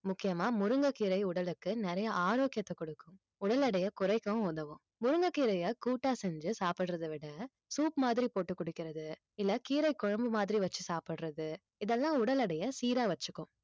முக்கியமா முருங்கைக்கீரை உடலுக்கு நிறைய ஆரோக்கியத்தைக் கொடுக்கும் உடல் எடையை குறைக்கவும் உதவும் முருங்கைக்கீரையை கூட்டா செஞ்சு சாப்பிடுறதை விட soup மாதிரி போட்டு குடிக்கிறது இல்லை கீரைக் குழம்பு மாதிரி வச்சு சாப்பிடுறது இதெல்லாம் உடல் எடையை சீரா வச்சுக்கும்